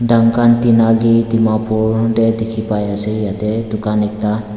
duncan tinali dimapur tiki bai ase yete tucan ekta.